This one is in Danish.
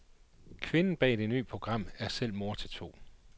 Kvinden bag det ny program er selv mor til to.